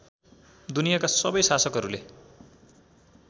दुनियाँका सबै शासकहरूले